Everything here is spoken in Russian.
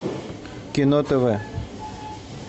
кино тв